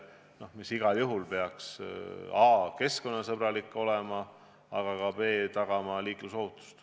See peaks igal juhul olema keskkonnasõbralik ja ühtlasi aitama tagada liiklusohutust.